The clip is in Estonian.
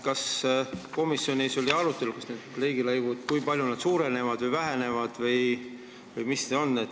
Kas komisjonis arutati, kui palju riigilõivud suurenevad või vähenevad või mis nendest saab?